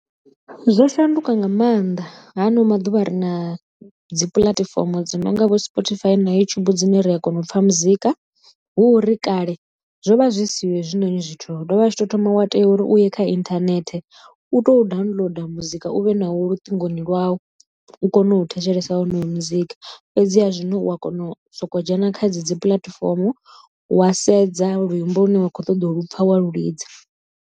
Zwo shanduka nga maanḓa ha ano maḓuvha ri na dzi puḽatifomo dzo nonga vho Spotify na YouTube dzine ri a kona u pfha muzika, hu uri kale zwo vha zwi siho hezwinoni zwithu dovha a tshi to thoma wa tea uri u ye kha inthanethe u to downloader muzika u vhe nawo luṱingo lwau u kone u thetshelesa wonoyo muzika fhedziha zwino u a kona u soko dzhena kha dzi puḽatifomo wa sedza luimbo lu ne wa khou ṱoḓa u lupfa wa lu lidza.